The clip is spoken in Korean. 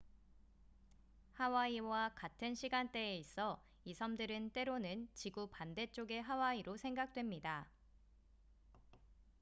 "하와이와 같은 시간대에 있어 이 섬들은 때로는 "지구 반대쪽의 하와이""로 생각됩니다.